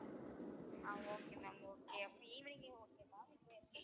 ஆஹ் okay ma'am okay அப்போ evening ஏ okay ma'am